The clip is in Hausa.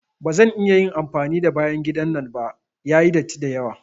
Ba zan iya amfani da bayan gidan nan ba, yayi datti dayawa.